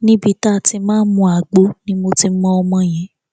níbi tá a ti máa ń mú agbo ni mo ti mọ ọmọ yẹn